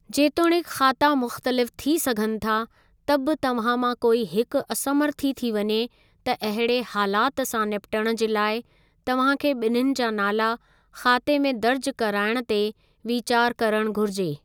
जेतोणीकि ख़ाता मुख़्तलिफ़ थी सघनि था, त बि तव्हां मां कोई हिकु असमर्थी थी वञे त अहिड़े हालातु सां निपटणु जे लाइ तव्हांखे ॿिन्हिन जा नाला ख़ाते में दर्जु कराइणु ते वीचार करणु घुरिजे।